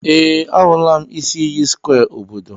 Ee, ahụla m isi iyi square obodo.